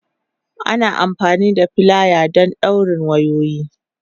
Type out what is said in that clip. Ana amfani da filaya wajen dawrin wayoyi.